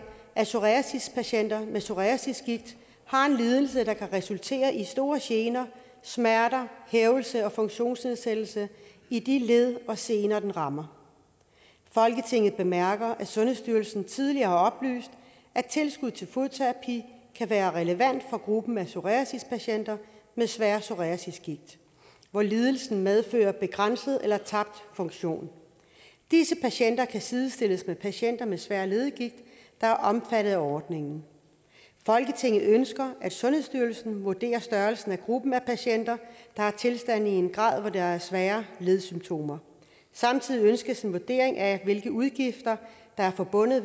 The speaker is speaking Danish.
at psoriasispatienter med psoriasisgigt har en lidelse der kan resultere i store gener smerter hævelse og funktionsnedsættelse i de led og sener den rammer folketinget bemærker at sundhedsstyrelsen tidligere har oplyst at tilskud til fodterapi kan være relevant for gruppen af psoriasispatienter med svær psoriasisgigt hvor lidelsen medfører begrænset eller tabt funktion disse patienter kan sidestilles med patienter med svær leddegigt der er omfattet af ordningen folketinget ønsker at sundhedsstyrelsen vurderer størrelsen af gruppen af patienter der har tilstanden i en grad hvor der er svære ledsymptomer samtidig ønskes en vurdering af hvilke udgifter der er forbundet